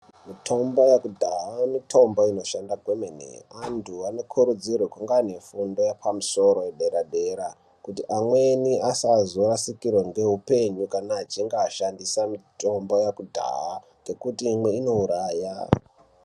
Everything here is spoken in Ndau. Mitombo yekudhaya mitombo inoshanda kwemene. Antu anokurudzirwe kunge ane fundo yepamusoro yedera-dera kuti amweni asazorasikirwa ngeupenyu kana achinge ashandisa mitombo yekudhaya ngekuti imwe inouraya.